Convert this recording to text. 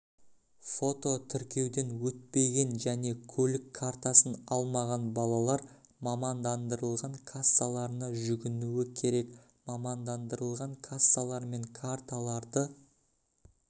фототіркеуден өтпеген және көлік картасын алмаған балалар мамандандырылған кассаларына жүгінуі керек мамандандырылған кассалар мен карталарды